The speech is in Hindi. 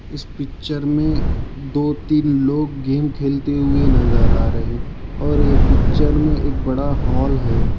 इस पिक्चर में दो तीन लोग गेम खेलते हुए नजर आ रहे हैं और यह पिक्चर में एक बड़ा हॉल है।